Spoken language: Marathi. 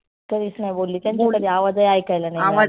कधीच नाही बोलली त्यांचा एवढा बी आवाजही ऐकायला आला नाही.